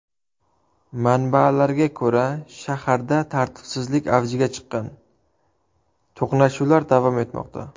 Manbalarga ko‘ra, shaharda tartibsizlik avjiga chiqqan, to‘qnashuvlar davom etmoqda.